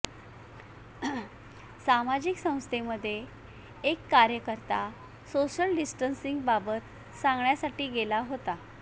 सामाजिक संस्थेमध्ये एक कार्यकर्ता सोशल डिस्टन्सिंगबाबत सांगण्यासाठी गेला होता